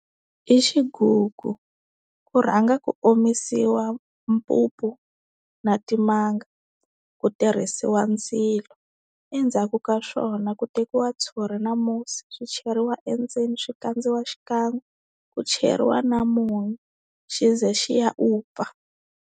I xigugu ku rhanga ku omisiwa mpupu na timanga ku tirhisiwa ndzilo endzhaku ka swona ku tekiwa ntshuri na musi swicheriwa endzeni swi kandziya xikan'we ku cheriwa na munyu xi ze xi ya vupfa.